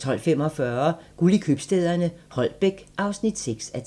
12:45: Guld i købstæderne - Holbæk (6:10)